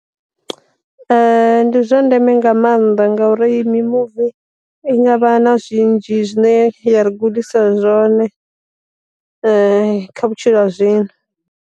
Ndi zwa ndeme nga maanḓa ngauri mi muvi i ngavha na zwinzhi zwine ya ri gudisa zwone kha vhutshilo ha zwino.